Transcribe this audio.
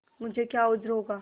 मुझे क्या उज्र होगा